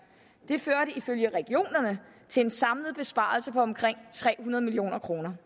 det førte ifølge regionerne til en samlet besparelse på omkring tre hundrede million kroner